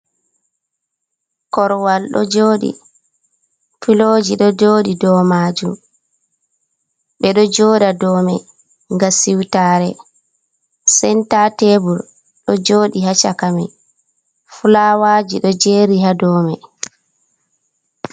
Korwal ɗo jooɗi, fiooji ɗo jooɗi, dow maajum, ɓe ɗo jooɗa dow may, ngam siwtaare, senta teebul ɗo jooɗi haa cakamay, fulaawaaji ɗo jeeri haa dow may.